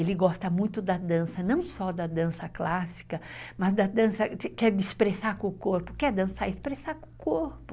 Ele gosta muito da dança, não só da dança clássica, mas da dança, quer expressar com o corpo, quer dançar, expressar com o corpo.